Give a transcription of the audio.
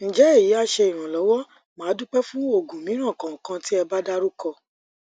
nje eyi a se iranlowo madupe fun ogun miran kan kan ti eba daruko